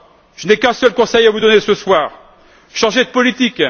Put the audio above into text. Je n'ai qu'un seul conseil à vous donner ce soir changez de politique!